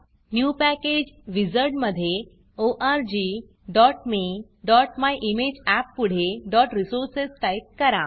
new package wizard new package wizard मधे orgmeमायिमेजअप पुढे resources टाईप करा